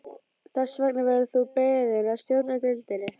Þess vegna verður þú beðinn að stjórna deildinni